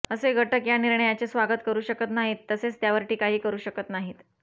असे घटक या निर्णयाचे स्वागत करू शकत नाहीत तसेच त्यावर टीकाही करू शकत नाहीत